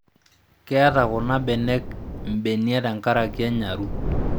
Keeta kunabenek mbenia tenkaraki enyaru